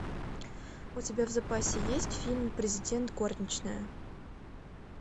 у тебя в запасе есть фильм президент горничная